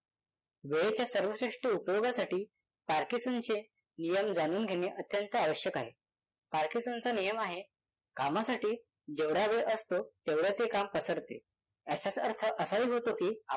वेळेच्या सर्वश्रेष्ठ उपयोगासाठी पार्किन्सनचे नियम जाणून घेणे अत्यंत आवश्यक आहे. पार्किन्सनचा नियम आहे कामासाठी जेवढा वेळ असतो तेवढे ते काम पसरते. याचाच अर्थ असाही होतो की